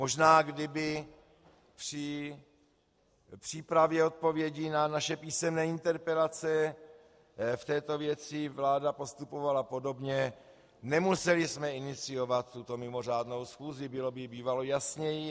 Možná kdyby při přípravě odpovědi na naše písemné interpelace v této věci vláda postupovala podobně, nemuseli jsme iniciovat tuto mimořádnou schůzi, bylo by bývalo jasněji.